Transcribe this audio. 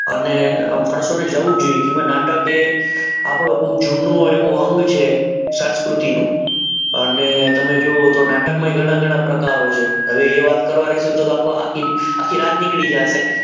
અને ઓડિયન્સને જાવું જોઈએ કે નાટક એક આપણો બહુ જૂનો એવો અંગ છે સંસ્કૃતિનો અને તમે જુઓ તો નાટકમાં એ ઘણા ઘણા કલાકારો છે હવે એ વાત કરીશું તો આખી રાત નીકળી જશે.